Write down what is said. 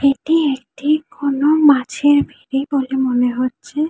এটি একটি কোনো মাছের ভেরি বলে মনে হচ্ছে।